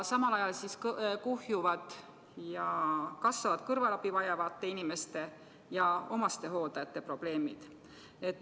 Samal ajal kuhjuvad ja kasvavad kõrvalabi vajavate inimeste ja omastehooldajate probleemid.